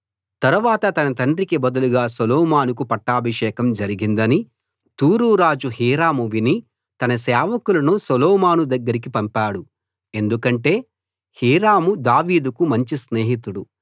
తరవాత తన తండ్రికి బదులుగా సొలొమోనుకు పట్టాభిషేకం జరిగిందని తూరు రాజు హీరాము విని తన సేవకులను సొలొమోను దగ్గరకి పంపాడు ఎందుకంటే హీరాము దావీదుకు మంచి స్నేహితుడు